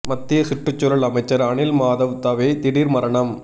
மத்திய சுற்றுச்சூழல் அமைச்சர் அனில் மாதவ் தவே திடீர் மரணம்